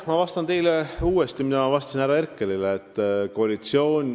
Ma vastan teile uuesti seda, mida ma vastasin härra Herkelile.